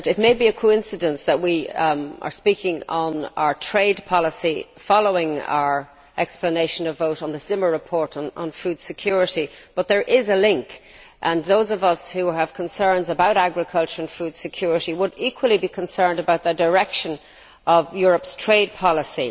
Mr President, it may well be a coincidence that we are speaking on our trade policy following our explanation of vote on the Zimmer report on food security, but there is a link, and those of us who have concerns about agriculture and food security would equally be concerned about the direction of Europe's trade policy.